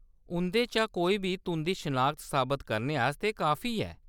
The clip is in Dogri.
उंʼदे चा कोई बी तुंʼदी शनाखत साबत करने आस्तै काफी ऐ।